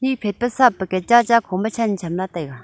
phet pa surf packet cha cha kho ma chen cham la taega.